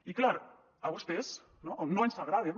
i clar a vostès no no els agraden